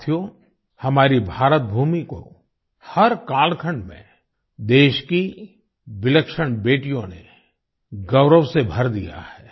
साथियो हमारी भारतभूमि को हर कालखंड में देश की विलक्षण बेटियों ने गौरव से भर दिया है